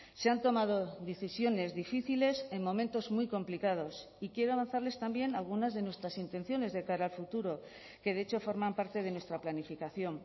se han tomado decisiones difíciles en momentos muy complicados y quiero avanzarles también algunas de nuestras intenciones de cara a futuro que de hecho forman parte de nuestra planificación